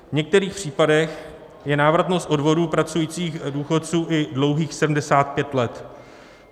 V některých případech je návratnost odvodů pracujících důchodců i dlouhých 75 let.